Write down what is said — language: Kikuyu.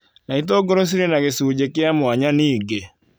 na itũngũrũ cirĩ na gĩcunjĩ kĩa mwanya ningĩ.